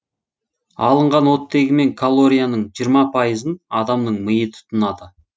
алынған оттегі мен калорияның жиырма пайызын адамның миы тұтынады